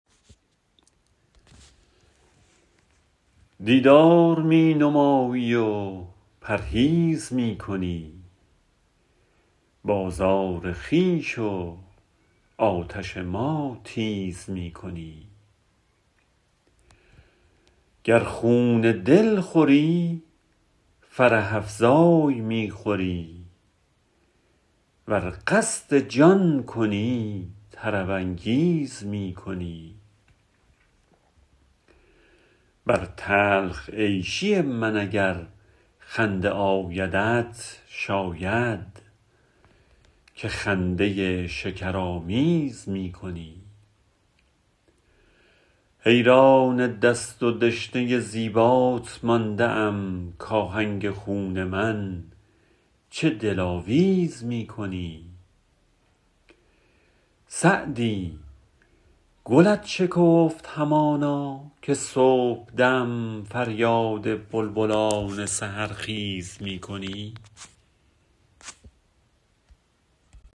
دیدار می نمایی و پرهیز می کنی بازار خویش و آتش ما تیز می کنی گر خون دل خوری فرح افزای می خوری ور قصد جان کنی طرب انگیز می کنی بر تلخ عیشی من اگر خنده آیدت شاید که خنده شکرآمیز می کنی حیران دست و دشنه زیبات مانده ام کآهنگ خون من چه دلاویز می کنی سعدی گلت شکفت همانا که صبحدم فریاد بلبلان سحرخیز می کنی